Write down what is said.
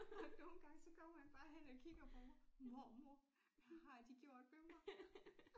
Og nogle gange så kommer han bare hen og kigger på mig mormor hvad har de gjort ved mig